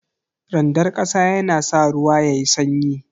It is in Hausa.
Randar kasa yana sa ruwa yayi sanyi.